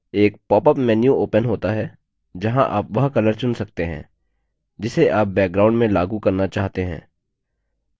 एक popup menu opens होता है जहाँ आप वह color चुन सकते हैं जिसे आप background में लागू करना चाहते हैं